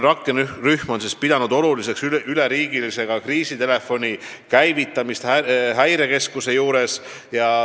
Rakkerühm on pidanud oluliseks üleriigilise kriisitelefoni käivitamist Häirekeskuse juures.